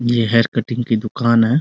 ये hair cutting की दुकान है।